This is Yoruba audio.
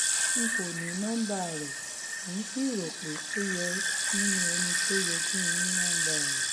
n kò ní nọmba rẹ̀ um ń sì rò pé ó yẹ um nínú ẹni tó yẹ kí n ní nọmba rẹ̀